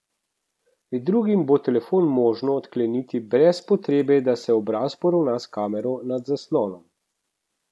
Med drugim bo telefon možno odkleniti brez potrebe, da se obraz poravna s kamero nad zaslonom.